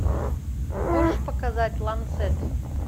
можешь показать ланцет